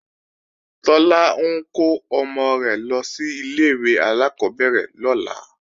Tọ́lá ń kó ọmọ rẹ̀ lọ sí ilé-ìwé alákọ́bẹ̀rẹ̀ lọ́la